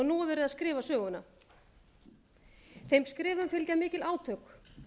nú er verið að skrifa söguna þeim skrifum fylgja mikil átök